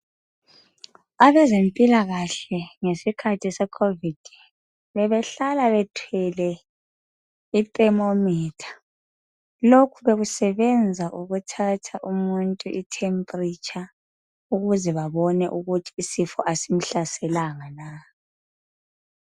Abezempilakahle ngesikhathi seCovid bebehlala bathwele iThermometer. Lokhu bekusebenza ukuthatha umuntu iTemperature ukuze babone ukuthi isifo asimhlaselanga na?